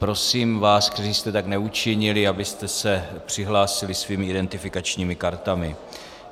Prosím vás, kteří jste tak neučinili, abyste se přihlásili svými identifikačními kartami.